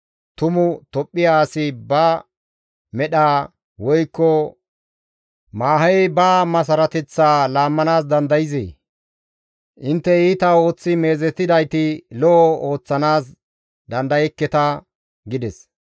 Tumu Tophphiya asi ba medha, woykko maahey ba masarateththaa laammanaas dandayzee? Intte iita ooththi meezetidayti lo7o ooththanaas dandayekketa» gides.